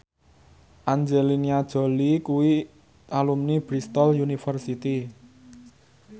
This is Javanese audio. Angelina Jolie kuwi alumni Bristol university